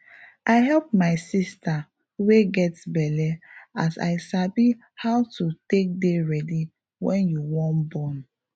i help my sister wey get belle as i sabi how to take dey ready wen you wan born